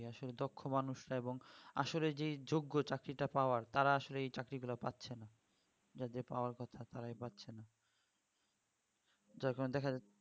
জি আসলে দক্ষ মানুষরা এবং আসলে যেই যজ্ঞ চাকরিটা পাওয়ার তারা আসলে এই চাকরি গুলো পাচ্ছে না যাদের পাওয়ার কথা তারাই পাচ্ছে না তার কারণে দেখা যাচ্ছে